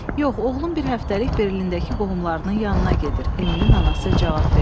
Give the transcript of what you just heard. Yox, oğlum bir həftəlik Berlindəki qohumlarının yanına gedir, Emilin anası cavab verdi.